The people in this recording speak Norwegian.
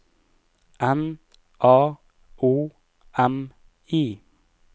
N A O M I